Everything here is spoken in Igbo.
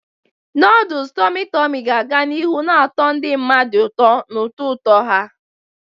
Noodles tummy tummy ga-aga n'ihu na-atọ ndị mmadụ ụtọ na ụtọ ụtọ ha.